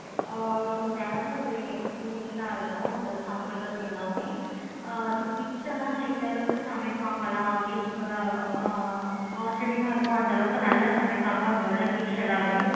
ஆஹ் so தினமும் ஒரு experience ஆஹ் இருக்கும். நம்ம சாப்பிடுறது எல்லாமே ஆஹ் so kids எல்லாம் இந்த அளவுக்கு சமைப்பாங்களா அப்படின்றது ஆச்சரியமா இருக்கும். அந்த அளவுக்கு நல்ல சமைப்பாங்க. அங்க உள்ள kids எல்லாருமே